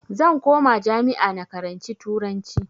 Zan koma jami'a na karanci turanci